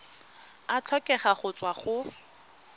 a tlhokega go tswa go